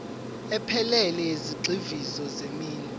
ephelele yezigxivizo zeminwe